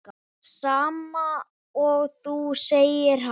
Sama og þú, segir hann.